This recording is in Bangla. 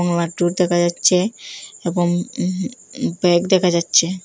দেখা যাচ্ছে এবং উম উম ব্যাগ দেখা যাচ্ছে।